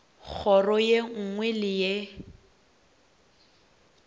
kgoro ye nngwe le ye